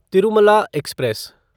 Tirumala express